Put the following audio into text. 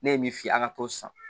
Ne ye min fi ye a ka t'o san